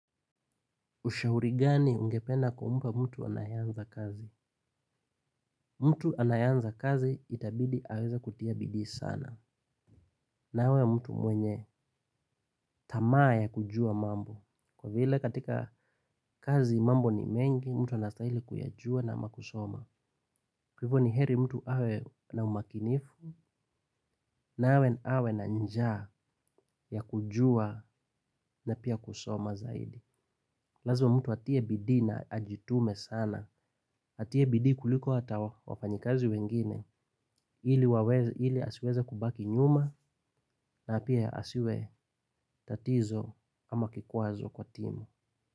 Ushauri gani ungepeana kwamba mtu anayeanza kazi? Mtu anayeanza kazi itabidi aweza kutia bidii sana. Na awe mtu mwenye tamaa ya kujua mambo. Kwa vile katika kazi mambo ni mengi, mtu anastahili kuyajua na ama kusoma. Kwa hivyo ni heri mtu awe na umakinifu, na awe na njaa ya kujua na pia kusoma zaidi. Lazma mtu atie bidii na ajitume sana. Atie bidii kuliko hata wafanyikazi wengine. Kwa vile asiweze kubaki nyuma na pia asiwe tatizo ama kikwazo kwa timu.